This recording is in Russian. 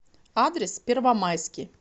адрес первомайский